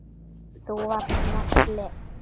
Þú varst nagli.